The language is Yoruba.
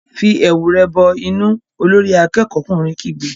Fi ẹ̀wù rẹ bọ inú! Olórí akẹ́kọ̀ọ́'kùnrin kígbe.